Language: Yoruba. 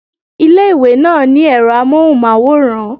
Ilé ìwé náà ní èro amóhùnmáwòrán